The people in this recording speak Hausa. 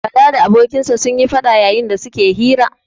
Bala da abokinsa sun yi faɗa yayin da su ke hira.